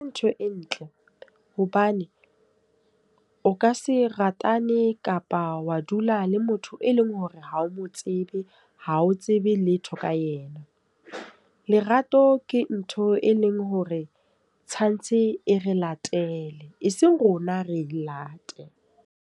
Ke ntho e ntle. Hobane o ka se ratane kapa wa dula le motho e leng hore ha o mo tsebe ha o tsebe letho ka ena. Lerato ke ntho e leng hore tshwantse e re latele. E seng rona re late.